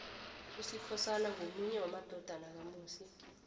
usikhosana ngomunye wamadodana kamusi